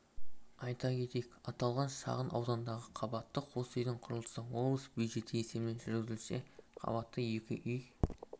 айта кетейік аталған шағын аудандағы қабатты қос үйдің құрылысы облыс бюджеті есебінен жүргізілсе қабатты екі үй